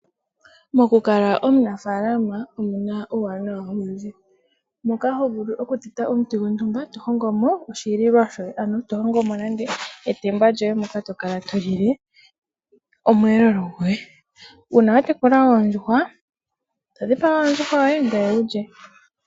Mokukala omunafaalama omuna uuwanawa owundji moka hovulu okutete omuti gontumba tohongomo oshililwa shoye ano tohongomo nande etemba lyoye moka tokala tolile oshihelelwa shoye. Uuna watekula oondjuhwa todhipaga ondjuhwa yoye ngoye wu lye.